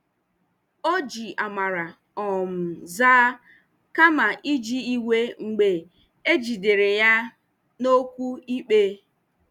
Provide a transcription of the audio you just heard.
O ji amara um zaa kama iji iwe mgbe e jidere ya na okwu ikpe.